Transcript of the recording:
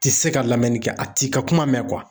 Ti se ka lamɛnni kɛ a ti ka kuma mɛn